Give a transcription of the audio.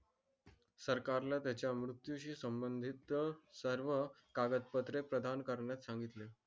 सरकारनं त्याच्या मृत्यूशी संबंधित सर्व कागद पत्र प्रधान करण्यास सांगितले